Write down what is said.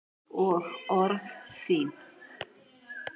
Og orð þín.